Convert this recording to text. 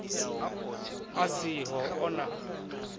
a si ho o na